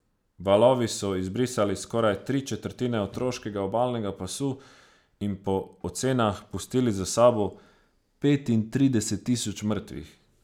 Valovi so izbrisali skoraj tri četrtine otoškega obalnega pasu in po ocenah pustili za sabo petintrideset tisoč mrtvih.